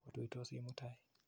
Otuitosi mutai.